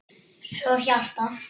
Svo hjarta.